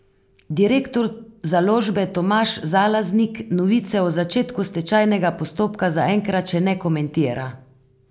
Direktor založbe Tomaž Zalaznik novice o začetku stečajnega postopka zaenkrat še ne komentira.